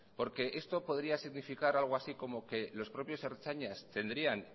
porque esto podría significar algo así como que los propios ertzainas tendrían